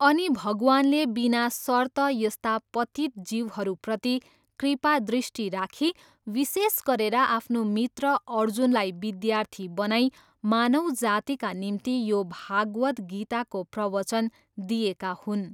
अनि भगवानले बिना सर्त यस्ता पतित जीवहरूप्रति कृपादृष्टि राखी विशेष गरेर आफ्नो मित्र अर्जुनलाई विद्यार्थी बनाई मानव जातिका निम्ति यो भागवत् गीताको प्रवचन दिएका हुन्।